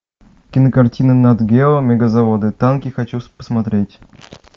кинокартина нат гео мегазаводы танки хочу посмотреть